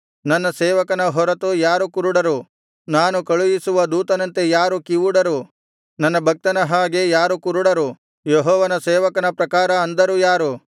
ನನ್ನ ಸೇವಕನ ಹೊರತು ಯಾರು ಕುರುಡರು ನಾನು ಕಳುಹಿಸುವ ದೂತನಂತೆ ಯಾರು ಕಿವುಡರು ನನ್ನ ಭಕ್ತನ ಹಾಗೆ ಯಾರು ಕುರುಡರು ಯೆಹೋವನ ಸೇವಕನ ಪ್ರಕಾರ ಅಂಧರು ಯಾರು